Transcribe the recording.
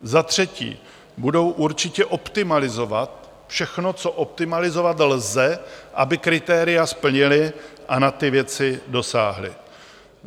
Za třetí, budou určitě optimalizovat všechno, co optimalizovat lze, aby kritéria splnily a na ty věci dosáhly.